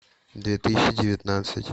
две тысячи девятнадцать